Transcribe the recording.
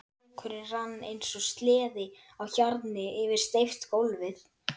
Dúkurinn rann eins og sleði á hjarni yfir steypt gólfið.